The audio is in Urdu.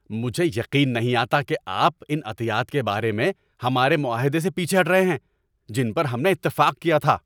مجھے یقین نہیں آتا کہ آپ ان عطیات کے بارے میں ہمارے معاہدے سے پیچھے ہٹ رہے ہیں جن پر ہم نے اتفاق کیا تھا۔